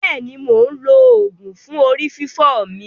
Bẹ́è ni, mò ń lo oògùn fún orí fífọ́ mi.